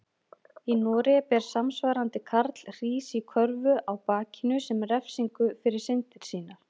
Í Noregi ber samsvarandi karl hrís í körfu á bakinu sem refsingu fyrir syndir sínar.